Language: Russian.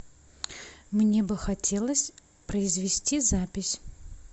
мне бы хотелось произвести запись